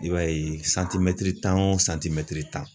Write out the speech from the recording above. I b'a ye santmɛtiri tan o santimɛtiri tan